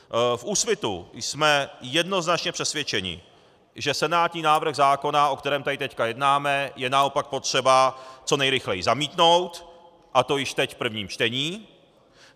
V Úsvitu jsme jednoznačně přesvědčeni, že senátní návrh zákona, o kterém tady teď jednáme, je naopak potřeba co nejrychleji zamítnout, a to již teď v prvním čtení.